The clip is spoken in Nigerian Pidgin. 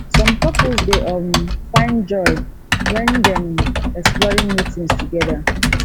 some couples dey um find joy wen dem exploring new things together